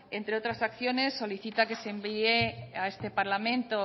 entre otras acciones solicita que se envíe a este parlamento